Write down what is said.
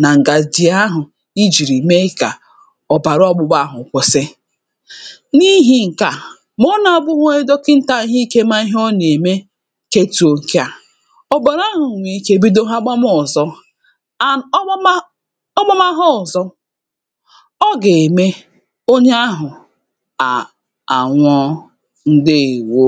n’aka ǹkè nà-echeba aka mmadụ̀ pụ̀ọ nà korona vaịrọs na-ète m̀gbè niilė kà o chebe aka gị̇ [paues] ǹdeèwo